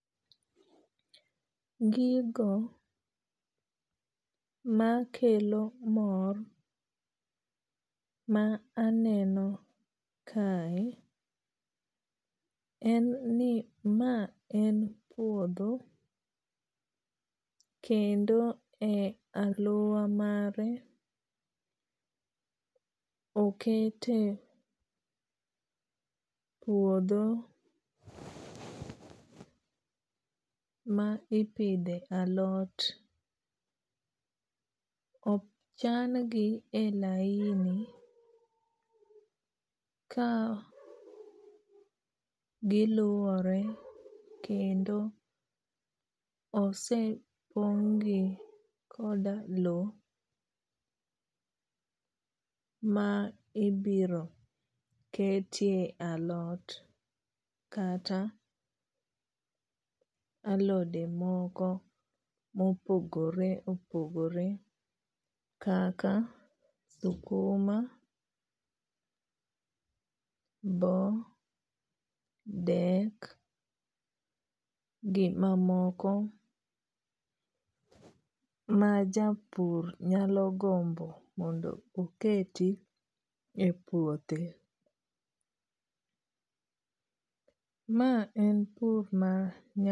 Gigo makelo mor ma aneno kae en ni ma en puodho kendo e aluora mare okete puodho ma ipidhe alot. Ochan gi e laini ka giluore kendo osepong' gi koda low ma ibiro ketie alot kata alode moko mopogore opogore kaka sukuma, bo, dek, gi mamoko ma japur nyalo gombo mondo oketi e puothe. Ma en pur.